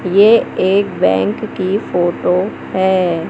ये एक बैंक की फोटो है।